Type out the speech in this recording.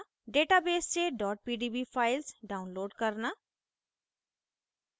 * database से pdb files download करना